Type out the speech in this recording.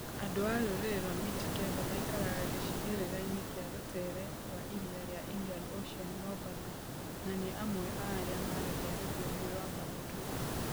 Andũ a rũrĩrĩ rwa Mijikenda maikaraga gĩcigĩrĩra kĩa rũteere rwa iria ria Indian Ocean mombatha na niamwe a aria maaragia rũthiomi rwa Bantu.